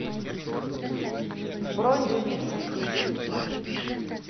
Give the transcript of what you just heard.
бронь люби цветы